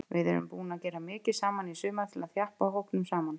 Við erum búnir að gera mikið saman í sumar til þess að þjappa hópnum saman.